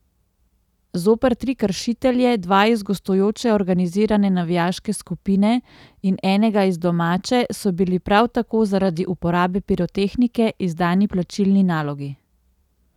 Zoper tri kršitelje, dva iz gostujoče organizirane navijaške skupine in enega iz domače, so bili prav tako zaradi uporabe pirotehnike izdani plačilni nalogi.